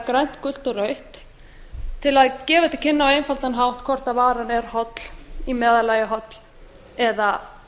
grænt gult og rautt til að gefa til kynna á einfaldan hátt hvort varan er holl í meðallagi holl eða